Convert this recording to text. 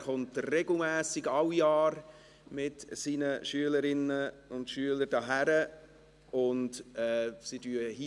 Er kommt regelmässig alle Jahre mit seinen Schülerinnen und Schüler hierhin.